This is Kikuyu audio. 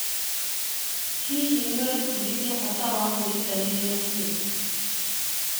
Hihi nĩũrebundithia bata wa kwĩrutanĩria biũ?